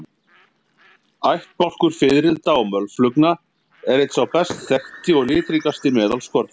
Ættbálkur fiðrilda og mölflugna er einn sá best þekkti og litríkasti meðal skordýra.